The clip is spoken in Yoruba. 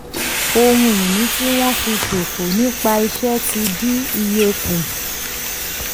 ohun ìní tí wọ́n fi ṣòfò nípa iṣẹ́ tí ń dín iye kù.